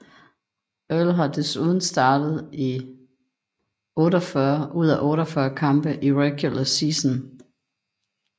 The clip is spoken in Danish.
Earl har desuden startet i 48 ud af 48 kampe i regular season